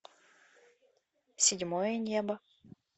седьмое небо